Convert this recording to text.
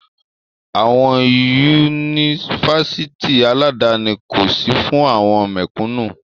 Àwọn Yunifásitì aládani kò sí fún àwọn mẹ̀kúnú.